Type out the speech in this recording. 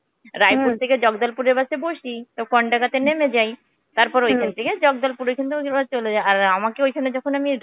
রায়পুর থেকে জগদলপুরের bus এ বসি. কন্দাঙ্গা তে নেমে যাই. তারপর ঐখান থেকে জগদলপুর ঐখান থেকে যেভাবে হোক চলে যাই. আ~আর আমাকে ওইখানে যখন আমি